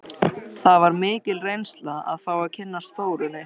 Það var mikil reynsla að fá að kynnast Þórunni.